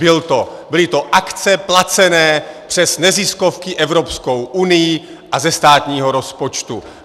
Byly to akce placené přes neziskovky Evropskou unií a ze státního rozpočtu!